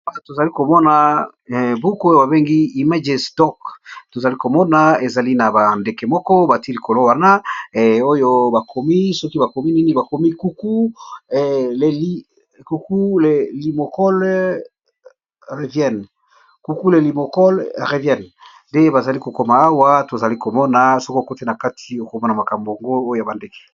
Awa tozali komona buku oyo babengi imaje stock tozali komona ezali na bandeke moko bati likolo wana oyo bakomi soki bakomi nini bakomi ukueliuku lelimokole revienne nde bazali kokoma awa tozali komona soko okoti na kati okomona makambo ongo oyo ya bandeke.